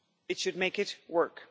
It should make it work.